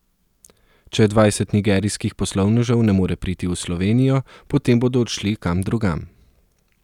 Če dvajset nigerijskih poslovnežev ne more priti v Slovenijo, potem bodo odšli kam drugam.